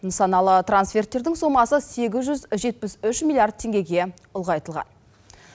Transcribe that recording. нысаналы трансферттердің сомасы сегіз жүз жетпіс үш миллиард теңгеге ұлғайтылған